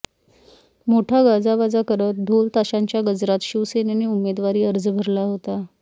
मोठा गाजावाजा करत ढोलताशांच्या गजरात शिवसेनेने उमेदवारी अर्ज भरला होता